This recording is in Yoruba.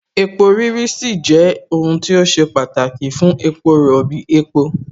epo rírí sì jẹ́ ohun tí ó ṣe pàtàkì fún epo rọ̀bì, epo